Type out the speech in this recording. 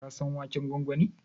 Ka san waken gwangwani?